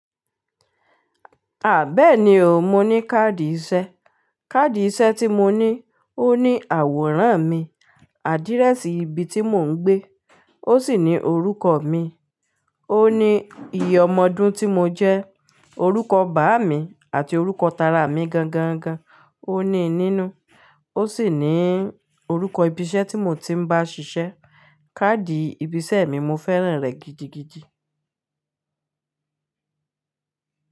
Béeni o, mo ní káàdì iṣẹ́. Káàdì iṣẹ́ tí mo ní, ó ní àwòrán mi, àdíréṣì ibi tí mò ń gbé, ó sì ní orúkọ mi, ó ní iye ọmọdún tí mo jẹ́, orúkọ bàá mi àti orúkọ tara mi gangan gan, ó ní nínú. Ó sì ní orúkọ ibi iṣẹ́ tí mo ti ń bá ṣiṣẹ́. Káàdì ibi iṣẹ́ mi, mo fẹ́ràn rẹ̀ gidigidi.